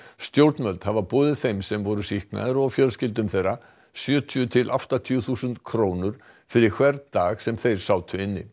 stjórnvöld hafa boðið þeim sem voru sýknaðir og fjölskyldum þeirra sjötíu til áttatíu þúsund krónur fyrir hvern dag sem þeir sátu inni